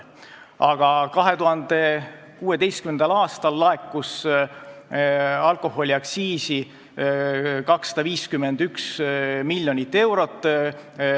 Aga 2016. aastal laekus alkoholiaktsiisi plaanipäraselt 251 miljonit eurot.